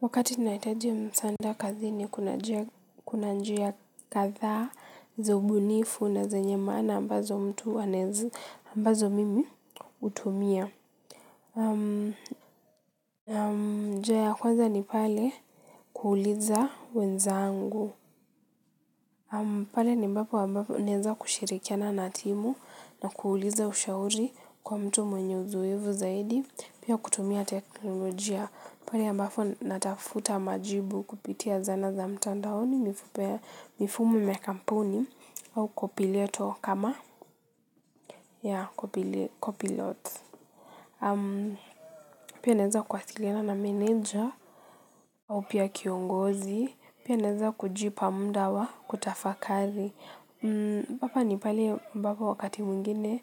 Wakati nahitaji msaada kazi ni kuna njia kadhaa, za ubunifu na zenye maana ambazo mtu anaeza ambazo mimi hutumia. Njia ya kwanza ni pale kuuliza wenzangu. Pale ni ambap naeza kushirikiana na timu na kuuliza ushauri kwa mtu mwenye uzoefu zaidi. Pia kutumia teknolojia. Pale ambapo natafuta majibu kupitia zana za mtandaoni mifumo ya kampuni au kwa pileto kama ya copilot. Uongozi pia naeza kujipa muda kutafakari hapa ni pale ambapo wakati mwngine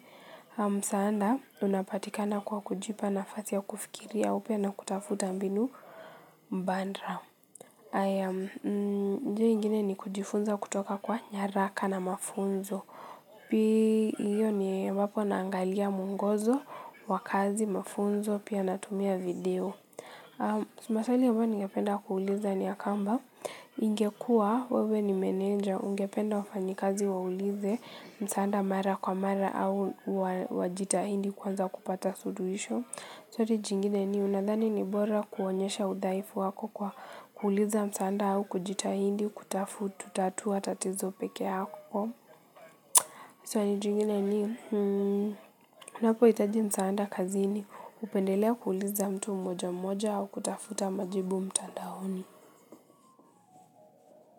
msaada unapatikana kwa kujipa na nafasi ya kufikiria upya na kutafuta mbinu mbadala. Njia ingine ni kujifunza kutoka kwa nyaraka na mafunzo. Pia hio ni ambapo naagalia mwongozo wa kazi mafunzo pia natumia video. Maswaali ambayo ningependa kuuliza ni ya kwamba. Ingekuwa wewe ni meneja ungependa wafanyikazi waulize msaada mara kwa mara au wajitahidi kuweza kupata suluhisho. Swali jingine ni unadhani ni bora kuonyesha udhaifu wako kwa kuuliza msaada au kujitahidi kutatua tatizo peke yako. Swali jingine ni unapohitaji msaada kazini upendelea kuuliza mtu moja moja au kutafuta majibu mtandaoni.